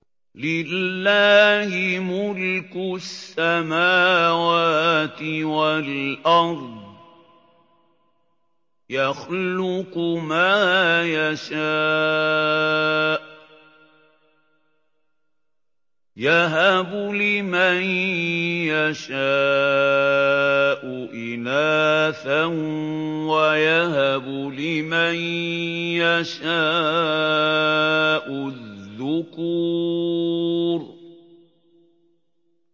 لِّلَّهِ مُلْكُ السَّمَاوَاتِ وَالْأَرْضِ ۚ يَخْلُقُ مَا يَشَاءُ ۚ يَهَبُ لِمَن يَشَاءُ إِنَاثًا وَيَهَبُ لِمَن يَشَاءُ الذُّكُورَ